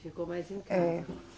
Ele ficou mais em casa. É